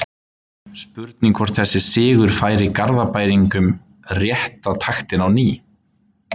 Spurning hvort þessi sigur færi Garðbæingum rétta taktinn á ný?